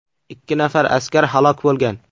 Ikki nafar askar halok bo‘lgan.